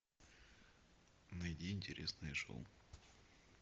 найди интересные шоу